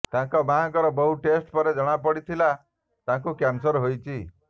ତାଙ୍କ ମାଆଙ୍କର ବହୁ ଟେଷ୍ଟ ପରେ ଜଣା ପଡ଼ିଥିଲା ତାଙ୍କୁ କ୍ୟାନସର ହୋଇଛି